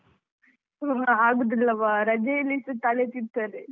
ಆಗುದಿಲ್ಲವಾ ರಜೆಯಲ್ಲಿಸ ತಲೆ ತಿಂತದೆ.